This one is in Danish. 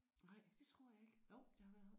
Nej det tror jeg ikke der har været